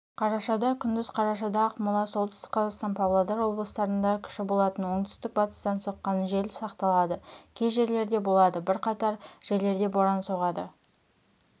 қарашада күндіз қарашада ақмола солтүстік қазақстан павлодар облыстарында күші болатын оңтүстік-батыстан соққан жел сақталады кей жерлерде болады бірқатар жерлерде боран соғады